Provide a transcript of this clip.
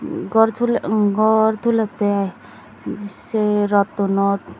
gor tul gor tulettey i sey rottunot.